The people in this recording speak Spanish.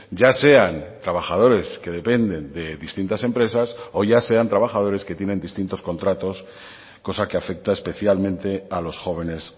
ya sean trabajadores que dependen de distintas empresas o ya sean trabajadores que tienen distintos contratos cosa que afecta especialmente a los jóvenes